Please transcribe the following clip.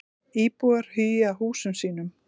Íbúar hugi að húsum sínum